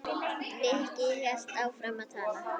Nikki hélt áfram að tala.